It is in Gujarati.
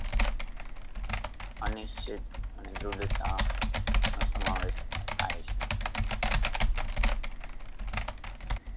અનિશ્ચિત અને ધૃઢતા નો સમાવેશ થાય છે